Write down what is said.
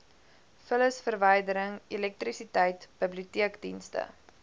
vullisverwydering elektrisiteit biblioteekdienste